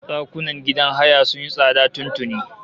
Ɗakunan gidan haya masu kyau sun yi tsada tun tuni